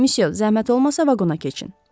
Müsyö, zəhmət olmasa vaqona keçin.